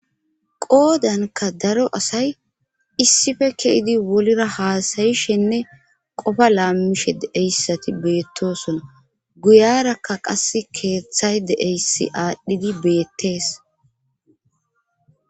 qoodanka daro asay issife keidi wolira haasayishenne qofa laammishe deeyssati beettosona guyarakka qas keeththay deeysi aadhdhidi beettees